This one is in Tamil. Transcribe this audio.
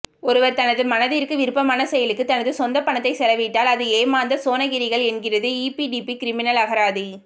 ஒருவர் தனது மனதிற்கு விருப்பான செயலுக்கு தனது சொந்தப்பணத்தை செலவிட்டால் அது ஏமாந்த சோணகிரிகள் என்கிறது ஈபிடிபி கிரிமினல் அகராதி